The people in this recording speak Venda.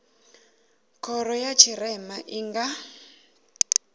khoro ya tshirema i nga